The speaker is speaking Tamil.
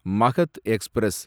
மகத் எக்ஸ்பிரஸ்